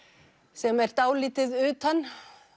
sem er dálítið utan